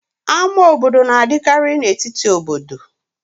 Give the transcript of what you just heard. Ámá obodo na-adịkarị n'etiti obodo.